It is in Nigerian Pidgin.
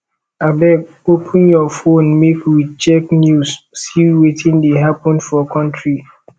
abeg open your fone make we check news see wetin dey happen for country